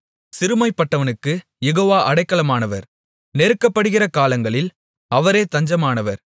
சிறுமைப்பட்டவனுக்குக் Jehovah அடைக்கலமானவர் நெருக்கப்படுகிற காலங்களில் அவரே தஞ்சமானவர்